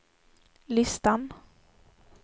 listan